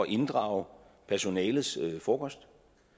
inddrage personalets frokost